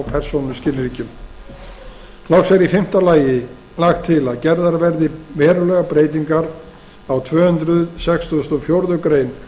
persónuskilríkjum loks er í fimmta lagi lagt til að gerðar verði verulegar breytingar á tvö hundruð sextugustu og fjórðu grein